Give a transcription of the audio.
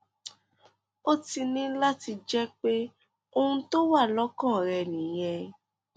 ó ti ní láti jẹ pé ohun tó wà lọkàn rẹ nìyẹn